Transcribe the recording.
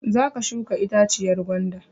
Za ka shuka itaciyar gwanda!